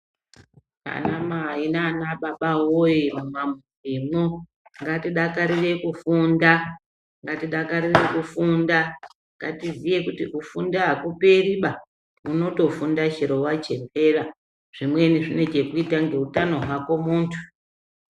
Ana mai nana baba woyee mumamuzi mwo ngatidakarire kufunda, ngatidakarire kufunda, ngatizive kuti kufunda hakuperi ba, unotofunda chero wachembera zvimweni zvine chekuita ngeutano hwako muntu.